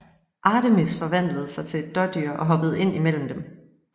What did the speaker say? Artemis forvandlede sig til et dådyr og hoppede ind imellem dem